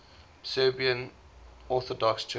serbian orthodox church